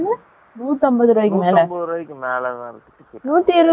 நூத்தி இருபது ரூபாய்க்கு மேல லாம் இருகாதா